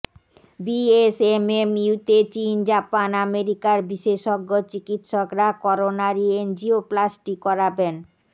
বিএসএমএমইউতে চীন জাপান আমেরিকার বিশেষজ্ঞ চিকিৎসকরা করোনারি এনজিওপ্লাস্টি করাবেন